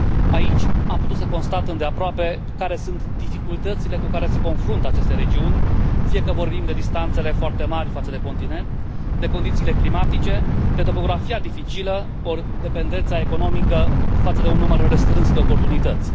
Aici am putut să constat îndeaproape care sunt dificultățile cu care se confruntă aceste regiuni, fie că vorbim de distanțele foarte mari față de continent, de condițiile climatice, de topografia dificilă ori de dependența economică de un număr restrâns de oportunități.